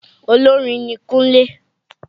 Olórin ni Kúnlé.